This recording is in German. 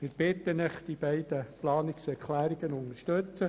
Ich bitte Sie deshalb, die beiden Planungserklärungen zu unterstützen.